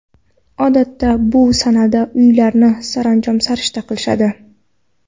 Odatda bu sanada uylarini saranjom-sarishta qilishadi.